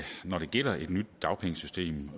når det gælder et nyt dagpengesystem